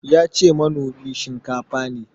Yace manomi shinkafa ne.